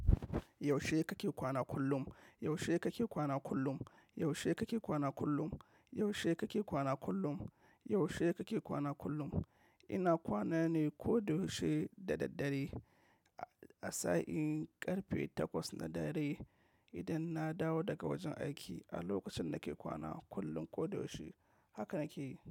Yaushe kake kwana kullum? Yaushe kake kwana kullum? Yaushe kake kwana kullum? Yaushe kake kwana kullum? Yaushe kake kwana kullum? Ina kwana ne koda yaushe da daddare. A sa'in ƙarfe takwas na dare idan na dawo daga wajen aiki. A lokacin nake kwana kullum koyaushe. Haka nake yi.